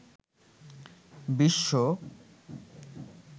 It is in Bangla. বিশ্ব